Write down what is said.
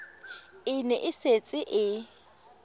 e ne e setse e